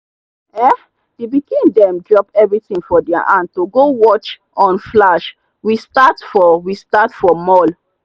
um the pikin them drop everything for their hand to go watch on flash we start for we start for mall.